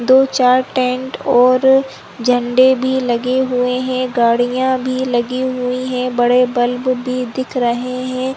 दो-चार टेंट और झण्डे भी लगे हुए हैं गाड़ियां भी लगी हुई है बड़े बल्ब भी दिख रहे हैं।